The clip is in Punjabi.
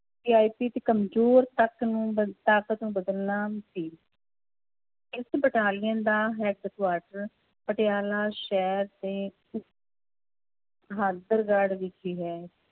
ਤੇ ਕੰਮਜ਼ੋਰ ਤੱਕ ਨੂੰ ਬ~ ਤਾਕਤ ਨੂੰ ਬਦਲਣਾ ਸੀ ਇਸ ਬਟਾਲੀਅਨ ਦਾ headquarter ਪਟਿਆਲਾ ਸ਼ਹਿਰ ਦੇ ਵਿਖੇ ਹੈ